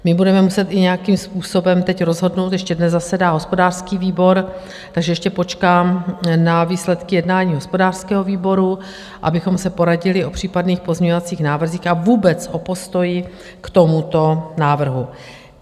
My budeme muset i nějakým způsobem teď rozhodnout, ještě dnes zasedá hospodářský výbor, takže ještě počkám na výsledky jednání hospodářského výboru, abychom se poradili o případných pozměňovacích návrzích a vůbec o postoji k tomuto návrhu.